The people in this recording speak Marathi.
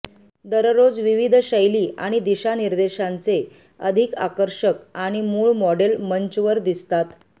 दररोज विविध शैली आणि दिशानिर्देशांचे अधिक आकर्षक आणि मूळ मॉडेल मंचवर दिसतात